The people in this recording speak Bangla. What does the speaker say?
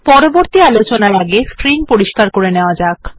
পরের কমান্ড আলোচনার আগে স্ক্রিন পরিস্কার করে নেওয়া যাক